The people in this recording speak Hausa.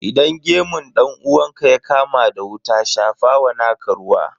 Idan gemun dan uwanka ya kama da wuta, shafa wa naka ruwa.